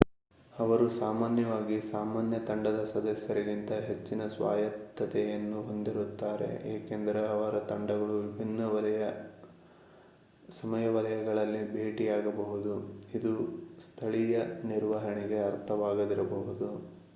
ಅವರು ಸಾಮಾನ್ಯವಾಗಿ ಸಾಮಾನ್ಯ ತಂಡದ ಸದಸ್ಯರಿಗಿಂತ ಹೆಚ್ಚಿನ ಸ್ವಾಯತ್ತತೆಯನ್ನು ಹೊಂದಿರುತ್ತಾರೆ ಏಕೆಂದರೆ ಅವರ ತಂಡಗಳು ವಿಭಿನ್ನ ಸಮಯ ವಲಯಗಳಲ್ಲಿ ಭೇಟಿಯಾಗಬಹುದು ಇದು ಸ್ಥಳೀಯ ನಿರ್ವಹಣೆಗೆ ಅರ್ಥವಾಗದಿರಬಹುದು